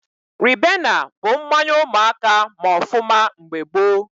Ribena bụ mmanya ụmụaka ma ọfụma mgbe gboo